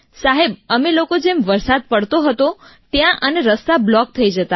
સાહેબ અમે લોકો જેમ વરસાદ પડતો હતો ત્યાં અને રસ્તા બ્લૉક થઈ જતા હતા